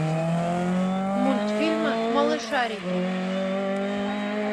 мультфильмы малышарики